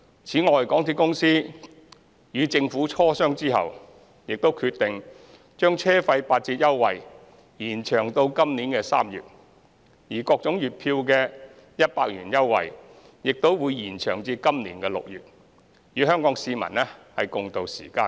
此外，港鐵公司與政府磋商後，亦決定將車費八折優惠延長至今年3月，而各種月票的100元折扣優惠，亦會延長至今年6月，與香港市民共渡時艱。